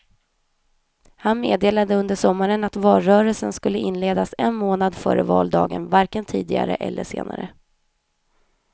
Han meddelade under sommaren att valrörelsen skulle inledas en månad före valdagen, varken tidigare eller senare.